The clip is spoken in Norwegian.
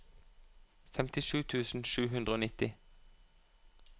femtisju tusen sju hundre og nitti